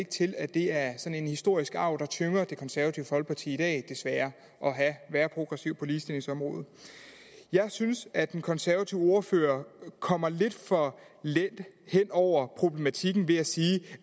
til at det er sådan en historisk arv der tynger det konservative folkeparti i dag desværre at være progressiv på ligestillingsområdet jeg synes at den konservative ordfører kommer lidt for let hen over problematikken ved at sige